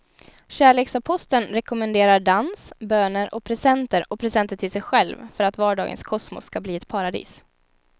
Kärleksaposteln rekommenderar dans, böner och presenter och presenter till sig själv för att vardagens kosmos ska bli ett paradis.